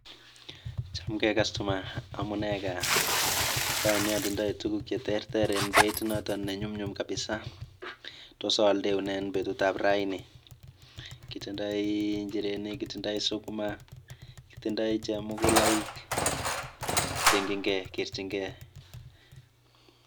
Ngele ii oldoindet. Tos igatitei ono olindet?